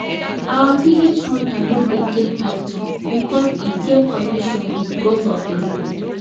our village hunter no dey kill python because e get connection with gods of the land